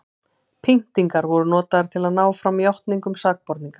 pyntingar voru notaðar til að ná fram játningum sakborninga